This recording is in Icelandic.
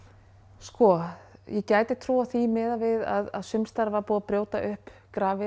sko ég gæti trúað því miðað við að sums staðar var búið að brjóta upp grafir